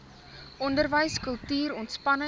onderwys kultuur ontspanning